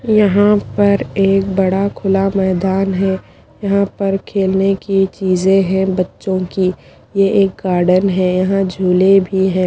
यहां पर एक बड़ा खुला मैदान है यहां पर खेलने की चीजे हैं बच्चों की ये एक गार्डन है यहां झूले भी है।